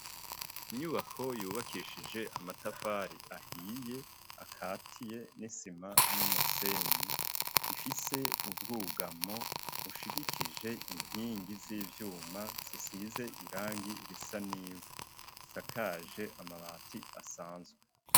Inyubako yubakishije amatafari ahiye akatiye n'isima n'umusenyi, ifise ubwugamo ushigikije inkingi z'ivyuma zisize irangi risa n'ivu isakaje amabati asanzwe.